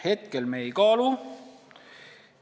Hetkel me seda ei kaalu.